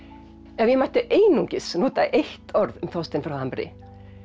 ef ég mætti einungis nota eitt orð um Þorstein frá Hamri